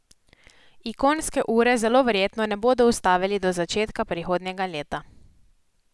Ikonske ure zelo verjetno ne bodo ustavili do začetka prihodnjega leta.